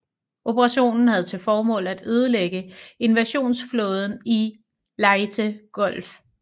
Operationen havde til formål at ødelægge invasionsflåden i Leyte Gulf